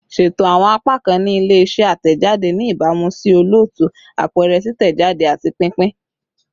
Ṣeto awọn apakan ni ile-iṣẹ atẹjade ni ibamu si olootu, apẹrẹ, titẹjade, ati pinpin